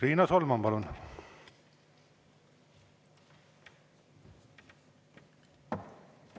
Riina Solman, palun!